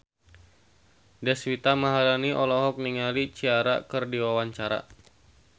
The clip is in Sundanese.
Deswita Maharani olohok ningali Ciara keur diwawancara